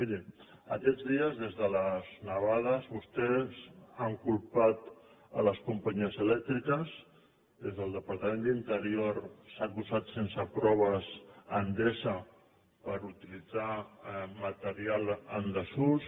miri aquests dies des de les nevades vostès han culpat les companyies elèctriques des del departament d’interior s’ha acusat sense proves endesa per haver utilitzat material en desús